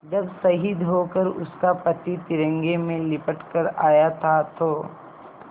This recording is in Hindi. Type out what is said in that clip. जब शहीद होकर उसका पति तिरंगे में लिपट कर आया था तो